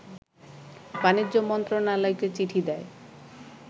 বাণিজ্য মন্ত্রণালয়কে চিঠি দেয়